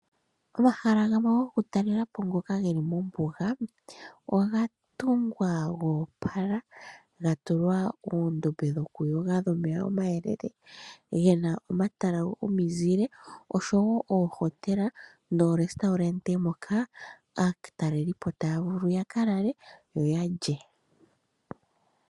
Omahala gamwe gokutalela po ngoka geli mombuga oga tungwa goopala gatulwa uundombe wokuyoga wuna omeya omayelele gena omatala gomizile oshowo oohotela nomahala mono aatalelipo taya vulu okulala nokulya.